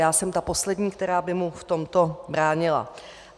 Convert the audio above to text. Já jsem ta poslední, která by mu v tomto bránila.